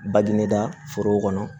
Badi ne da foro kɔnɔ